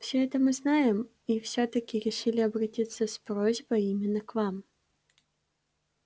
всё это мы знаем и всё-таки решили обратиться с просьбой именно к вам